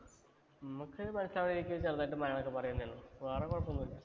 അമ്മക്ക് വേറെ കൊഴപ്പമോന്നുമില്ല.